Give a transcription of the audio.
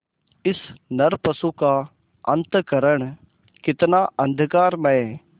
इस नरपशु का अंतःकरण कितना अंधकारमय